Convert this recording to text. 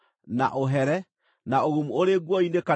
na ũgumu ũrĩ nguo-inĩ kana thĩinĩ wa nyũmba,